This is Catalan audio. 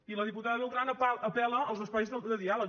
i la diputada beltrán apel·la als espais de diàleg